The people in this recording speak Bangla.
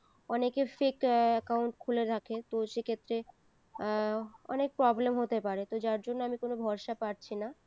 অনেকের fake এ account খুলে রাখে তো সে ক্ষেত্রে এর অনেক problem হতে পারে তো যার জন্য আমি কোনো ভরসা পাচ্ছিনা